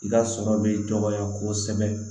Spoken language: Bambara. I ka sɔrɔ bɛ dɔgɔya kosɛbɛ